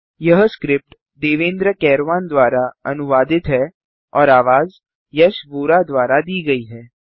यह स्क्रिप्ट देवेन्द्र कैरवान द्वारा अनुवादित है और आवाज यश वोरा द्वारा दी गई है